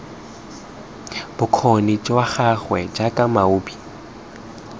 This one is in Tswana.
bokgoni jwa gagwe jaaka moabi